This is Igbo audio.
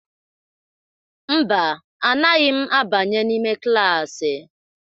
Mba, anaghị m abanye n'ime klaasị.